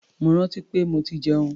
Mo rántí pé mo ti jẹun.